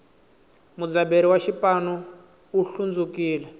mudzaberi wa xipanu u hlundzukile